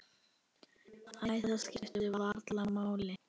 Æ, það skiptir varla máli.